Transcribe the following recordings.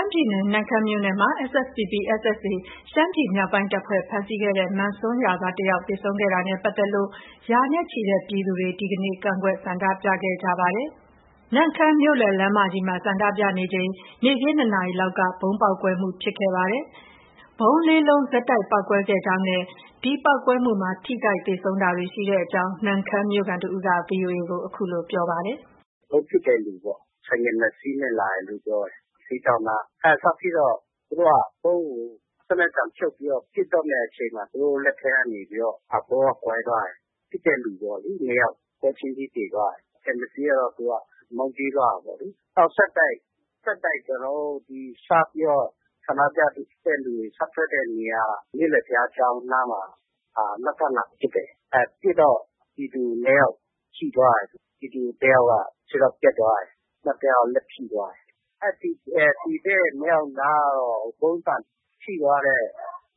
မ်းပြည်နယ်၊ နမ့်ခမ်းမြို့နယ်မှာ SSPP/ SSA ရှမ်းမြောက်တပ်ဖွဲ့ ဖမ်းဆီးခဲ့တဲ့ မန်ဆွမ်းရွာသားတယောက်သေဆုံးခဲ့တာနဲ့ပတ်သက်လို့ ရာနဲ့ချီတဲ့ ပြည်သူတွေ ဒီနေ့ကန့်ကွက်ဆန္ဒပြခဲ့ကြပါတယ်။ နမ့်ခမ်းမြို့ မြို့လယ် လမ်းမကြီးမှာ ဆန္ဒပြကြစဉ် နေ့ခင်း ၂နာရီလောက်က ဗုံးပေါက်ကွဲမှု ဖြစ်ပွားခဲ့ပါတယ်။ နမ့်ခမ်းမြို့ခံတစ်ဦးက ဗုံး ၄လုံးဆက်တိုက်ပေါက်ကွဲခဲ့ကြောင်းနဲ့ ဒီပေါက်ကွဲမှုမှာ ထိခိုက်သေဆုံးတာတွေ ရှိကြောင်း VOA ကို အခုလို ပြောပါတယ်။ “ ဗုံးပစ်တဲ့လူပေါ့။ ဆိုင်ကယ် ၂ စီးနဲ့ လာတယ်လို့ ပြောတယ်။ ဈေးဒေါင့်နား စဖြစ်တော့ သူတို့က ဗုံးကို စနက်တံဖြုတ်ပြီးတော့ ပစ်တော့မယ့်အချိန်မှာ သူတို့လက်ထဲကနေပြီးတော့ ဗုံးက ကွဲသွားတယ်။ ပစ်တဲ့လူပေါ့။ ၂ယောက်က ပွဲချင်းပြီး သေသွားတယ်။ ကျန်တစ်စီးကတော့ သူက မောင်းပြေးသွားတာပေါ့။ နောက် ဆက်တိုက် ဆက်တိုက် ကျနော်တို့ စပြီးတော့ ဆန္ဒပြသူတွေ စထွက်တဲ့နေရာ မြို့လည် ဘုရားကျောင်းနားမှာ နောက်ထပ်လာပစ်တယ်။ ပစ်တော့ ပြည်သူ ၂ ယောက် ထိသွားတယ်။ ပြည်သူတစ်ယောက်က ခြေထောက်ပြတ်သွားတယ်။ နောက် တစ်ယောက်က လက်ထိသွားတယ်။ သေတဲ့နှစ်ယောက်နားကတော့ ဗုံးဆံထိသွားတဲ့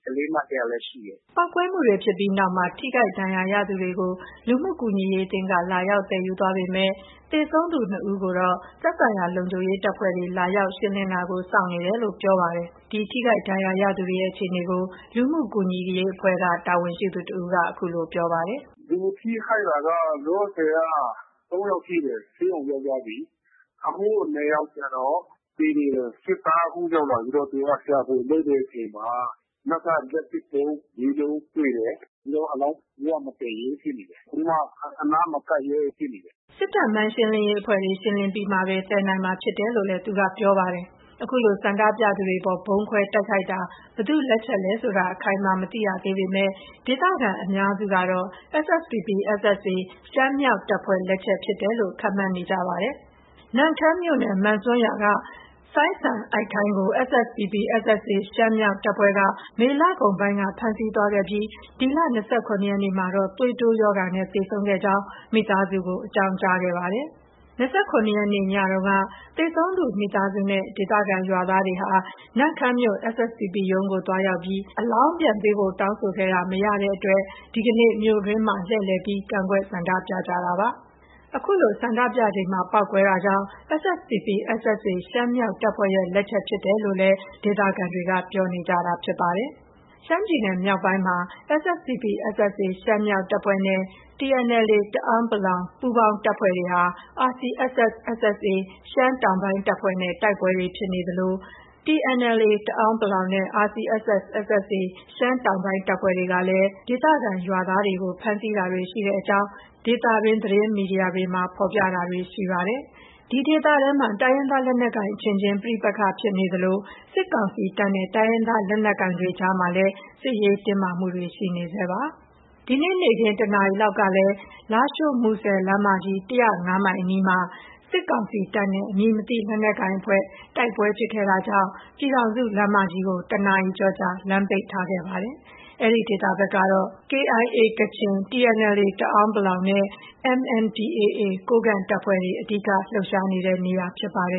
ကလေးမ တစ်ယောက်လည်း ရှိတယ်။” ပေါက်ကွဲမှုတွေဖြစ်ပြီးနောက်မှာ ထိခိုက်ဒဏ်ရာရသူတွေကိုတော့ လူမှုကူညီအရေးအသင်းက လာရောက်သယ်ယူသွားပေမဲ့ သေဆုံးသူ ၂ ဦးကိုတော့ သက်ဆိုင်ရာ လုံခြုံရေး တပ်ဖွဲ့တွေက လာရောက်ရှင်းလင်းတာကို စောင့်နေတယ်လို့ ပြောပါတယ်။ ဒီထိခိုက်ဒဏ်ရာရသူတွေနဲ့ အခြေအနေကို လူမှုကူညီရေးအဖွဲ့က တာဝန်ရှိသူတစ်ဦးက အခုလို ပြောပါတယ်။ “လူထိခိုက်တာက လောလောဆည် ၃ ယောက် ထိတယ်။ ဆေးရုံရောက်သွားပြီ။ အခု ၂ ယောက်ကျတော့ သေနေတယ်။ စစ်သား အခုရောက်လာပြီးတော့ ရှာဖွေ လုပ်တဲ့အချိန်မှာ နောက်ထပ် လက်ပစ်ဗုံး ၄ လုံးတွေ့တယ်။ အဲတော့ အလောင်း ဘယ်သူမှ မသယ်ရဲဘူးဖြစ်နေတယ်။ ဘယ်သူမှ အနားမကပ်ရဲဘူး ဖြစ်နေတယ်။” စစ်တပ် မိုင်းရှင်းလင်းရေးအဖွဲ့တွေ ရှင်းလင်းပြီးမှသာ သယ်ယူနိုင်မှာဖြစ်တယ်လို့လည်း သူကပြောပြပါတယ်။ အခုလို ဆန္ဒပြသူတွေအပေါ် ဗုံးခွဲတိုက်ခိုက်တာ ဘယ်သူ့လက်ချက်လဲဆိုတာ အခိုင်အမာ မသိရသေးပေမဲ့ ဒေသခံ အများစုကတော့ SSPP/SSA ရှမ်းမြောက်တပ်ဖွဲ့ လက်ချက်ဖြစ်တယ်လို့ ခန့်မှန်းနေကြပါတယ်။ နမ့်ခမ်းမြို့နယ် မန်ဆွမ်းရွာက စိုင်းစံအိုက်ခမ်းကို SSPP/SSA ရှမ်းမြောက် တပ်ဖွဲ့က မေလကုန်ပိုင်းက ဖမ်းဆီးသွားခဲ့ပြီး ဒီလ ၂၇ ရက်နေ့မှာတော့ သွေးတိုးရောဂါနဲ့ သေဆုံးခဲ့ကြောင်း မိသားစုကို အကြောင်းကြားခဲ့ပါတယ်။ ဒီလ ၂၇ရက်နေ့ ညမှာ သေဆုံးသူမိသားစုနဲ့ ဒေသခံ ရွာသားတွေက နမ့်ခမ်းမြို့ SSPP ရုံးကို သွားရောက်ပြီး အလောင်းပြန်ပေးဖို့ တောင်းဆိုခဲ့ရာတာ မရတဲ့အတွက် ဒီနေ့ မြို့အတွင်းမှာ လှည့်လည်ပြီး ကန့်ကွက် ဆန္ဒပြကြတာဖြစ်ပါတယ်။ ဒီလို ဆန္ဒပြချိန်မှာ ပေါက်ကွဲတာကြောင့် SSPP/SSA ရှမ်းမြောက်တပ်ဖွဲ့ ရဲ့ လက်ချက်ဖြစ်တယ်လို့ ဒေသခံတွေက ပြောနေကြတာဖြစ်ပါတယ်။ ရှမ်းပြည်နယ်မြောက်ပိုင်းမှာ SSPP/SSA ရှမ်းမြောက်တပ်ဖွဲ့ နဲ့ TNLA တအန်း ပူးပေါင်းတပ်ဖွဲ့တွေဟာ RCSS/SSA ရှမ်းတောင် တပ်ဖွဲ့နဲ့ တိုက်ပွဲတွေ ဖြစ်ပွားနေသလို TNLA တအန်း နဲ့ RCSS/SSA ရှမ်းတောင်တပ်ဖွဲ့တွေကလည်း ဒေသခံရွာသားတွေကို ဖမ်းဆီးတာတွေရှိကြောင်း ဒေသတွင်း သတင်းမီဒီယာတွေမှာ ဖော်ပြတာတွေ ရှိနေပါတယ်။ ဒီဒေသထဲမှာ တိုင်းရင်းသားလက်နက်ကိုင်အချင်းချင်း ပဋိပက္ခဖြစ်ပွားနေသလို စစ်ကောင်စီတပ်နဲ့ တိုင်းရင်းသားလက်နက်ကိုင်တွေအကြားမှာလည်း စစ်ရေး တင်းမာမှုတွေ ရှိနေဆဲဖြစ်ပါတယ်။ ဒီနေ့ နေ့ခင်း ၁ နာရီလောက်ကလည်း လားရှိုး- မူဆယ်လမ်းမကြီး ၁၀၅ မိုင်အနီးမှာ စစ်ကောင်စီတပ်နဲ့ အမည်မသိလက်နက်ကိုင်အဖွဲ့ တိုက်ပွဲဖြစ်ခဲ့တာကြောင့် ပြည်ထောင်စုလမ်းမကြီး ၁ နာရီကျော်ကြာ လမ်းပိတ်ခဲ့ပါတယ်။ အဲဒီဒေသဘက်ကတော့ KIA ကချင်၊ TNLA တအန်း နဲ့ MNDAA ကိုးကန့် တပ်ဖွဲ့တွေ အဓိက လှုပ်ရှားနေတာဖြစ်ပါတယ